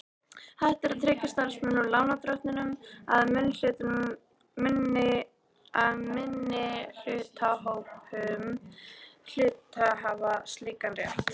hægt að tryggja starfsmönnum, lánardrottnum eða minnihlutahópum hluthafa slíkan rétt.